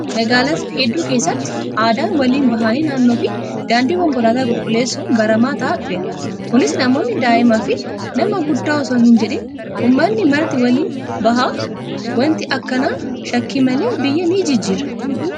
Magaalota hedduu keessatti aadaan waliin bahanii naannoo fi daandii konkolaataa qulqulleessuu baramaa ta'aa dhufeera. Kunis namoonni daa'imaa fi nama guddaa osoo hin jedhiin uummanni marti waliin baha. Wanti akkanaa shakkii malee biyya ni jijjiira.